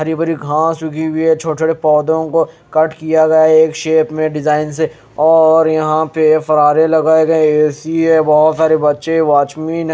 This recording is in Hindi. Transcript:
हरी भरी घास उगी हुई है छोटे छोटे पौधों को कट किया गया एक शेप में डिजाइन से और यहां पे फरारे लगाए गए ए_सी है बहोत सारे बच्चे हैं वॉचमिन --